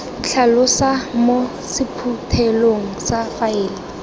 tlhalosiwa mo sephuthelong sa faele